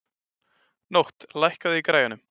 Nótt, lækkaðu í græjunum.